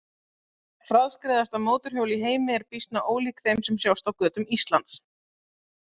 Hraðskreiðasta mótorhjól í heimi er býsna ólíkt þeim sem sjást á götum Íslands.